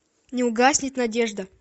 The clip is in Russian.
не угаснет надежда